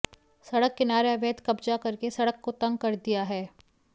सड़क किनारे अवैध कब्जा करके सड़क को तंग कर दिया है